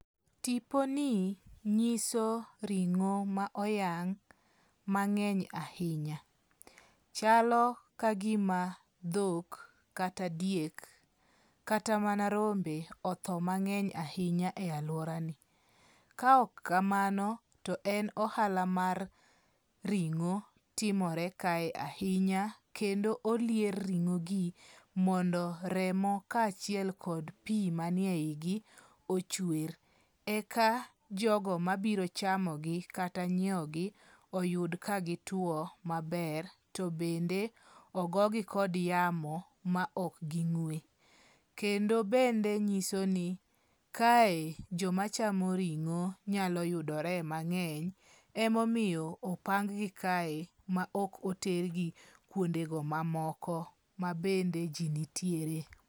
Tiponi nyiso ringo' ma oyang' mange'ny ahinya, chalo ka gima thok kata diek kata mana rombe otho mange'ny ahinya e aluorani, ka ok kamano to en ahala mar ringo' timore kae ahinya, kendo olier ringo'gi mondo remo kachiel kod pi manie higi ochwer, eka jogo mabiro chamogi kata nyiewogi oyud ka gitwo maber to bende ogogi kod yamo ma ok gi ng'we, kendo bende nyisoni kae jomachamo ringo nyalo yudore mange'ny emomiyo opang'gi kae ma ok otergi kuondego mamoko ma bende ji nitiere.